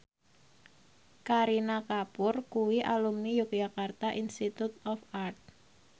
Kareena Kapoor kuwi alumni Yogyakarta Institute of Art